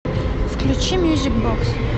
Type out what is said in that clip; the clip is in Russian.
включи мьюзик бокс